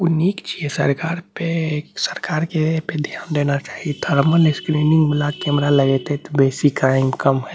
उ निक छी सरकार पे सरकार के इ पे ध्यान देना चाहिए थरमल स्क्रीनिंग वाला कैमरा लगइते त बेसी क्राइम कम होए --